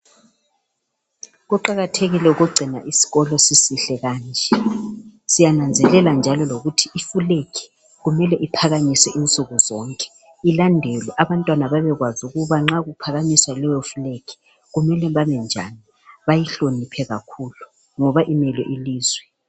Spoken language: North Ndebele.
Kuqakathekile ukugcina isikolo sisihle kanje. Siyananzelela njalo lokuthi Ifulegi kumele iphakanyiswe insuku zonke. Ilandelwe abantwana babekwazi ukuthi nxa kyohakanyiswa layofulegi kumele bame njani bayihloniphe kakhulu ngoba imele ilizwe.